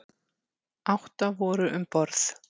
Átta voru um borð.